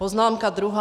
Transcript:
Poznámka druhá.